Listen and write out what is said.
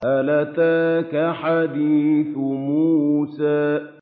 هَلْ أَتَاكَ حَدِيثُ مُوسَىٰ